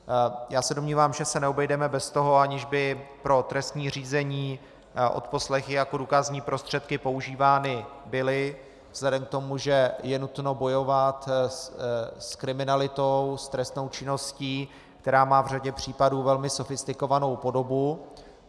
Já se domnívám, že se neobejdeme bez toho, aniž by pro trestní řízení odposlechy jako důkazní prostředky používány byly vzhledem k tomu, že je nutno bojovat s kriminalitou, s trestnou činností, která má v řadě případů velmi sofistikovanou podobu.